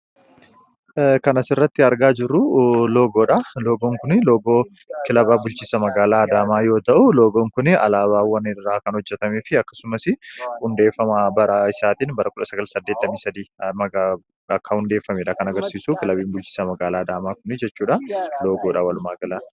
kan asirratti argaa jirru loogoon kun, kan kilaba bulchiisa magaalaa Adaamaa yoo ta'u, loogoon kuni alaabaawwan irraa kan hojjetamee fi akkasumas hundeeffama bara isaatiin bara 1983 akka hundeeffamedha kan agarsiisu kilabiin bulchiisa magaalaa Adaamaa kuni jechuudha.